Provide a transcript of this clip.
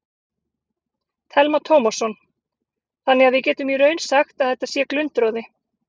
Telma Tómasson: Þannig að við getum í raun sagt að þetta sé glundroði?